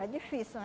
É difícil, né?